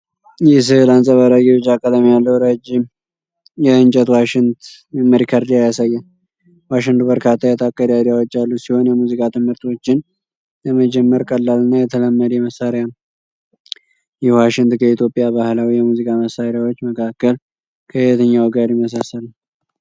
ይህ ሥዕል አንጸባራቂ ቢጫ ቀለም ያለው ረዥም የእንጨት ዋሽንት (Recorder) ያሳያል። ዋሽንቱ በርካታ የጣት ቀዳዳዎች ያሉት ሲሆን፣ የሙዚቃ ትምህርቶችን ለመጀመር ቀላልና የተለመደ መሣሪያ ነው። ይህ ዋሽንት ከኢትዮጵያ ባህላዊ የሙዚቃ መሣሪያዎች መካከል ከየትኛው ጋር ይመሳሰላል?